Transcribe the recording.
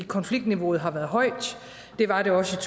konfliktniveauet har været højt det var det også